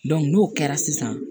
n'o kɛra sisan